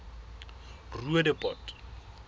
roodepoort